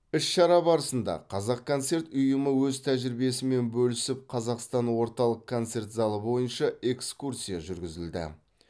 іс шара барысында қазақконцерт ұйымы өз тәжірибесімен бөлісіп қазақстан орталық концерт залы бойынша экскурсия жүргізілді